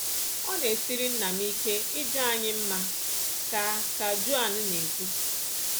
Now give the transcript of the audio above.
"Ọ na-esiri nna m ike ịja anyị mma,” ka ka Joan na-ekwu.